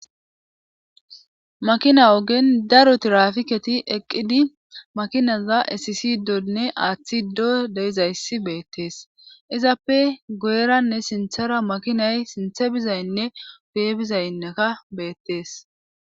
Makina ogen daro tirafiketi eqqidi makinaza esisidonne aaththido deizayssi beettees izappe go7eranne sinthara makinay sinthe bizaynne bee bizayneka beettees.